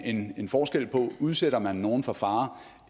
en forskel på om man udsætter nogle for fare